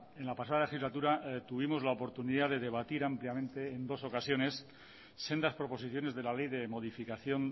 en la pasada legislatura tuvimos la oportunidad de debatir ampliamente en dos ocasiones sendas proposiciones de la ley de modificación